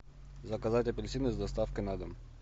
заказать апельсины с доставкой на дом